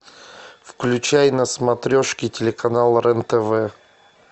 включай на смотрешке телеканал рен тв